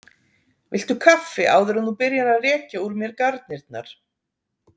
Viltu kaffi áður en þú byrjar að rekja úr mér garnirnar?